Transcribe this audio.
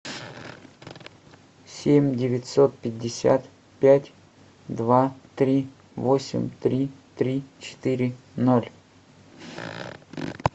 семь девятьсот пятьдесят пять два три восемь три три четыре ноль